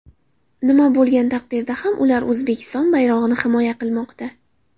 Nima bo‘lgan taqdirda ham ular O‘zbekiston bayrog‘ini himoya qilmoqda.